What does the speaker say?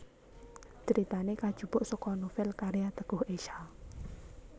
Critane kajupuk saka novel karya Teguh Esha